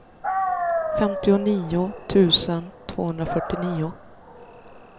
femtionio tusen tvåhundrafyrtionio